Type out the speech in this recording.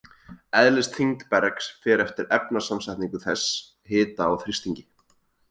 Eðlisþyngd bergs fer eftir efnasamsetningu þess, hita og þrýstingi.